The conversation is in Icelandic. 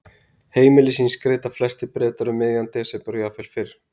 Heimili sín skreyta flestir Bretar um miðjan desember og jafnvel fyrr.